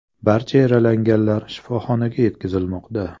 Barcha yaralanganlar shifoxonaga yetkazilmoqda.